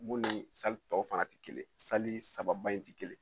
Bon ni tɔw fana tɛ kelen saba ba in ti kelen